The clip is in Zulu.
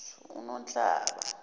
unhlaba